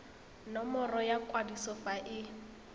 nomoro ya kwadiso fa e